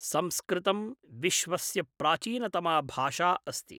संस्कृतं विश्वस्य प्राचीनतमा भाषा अस्ति।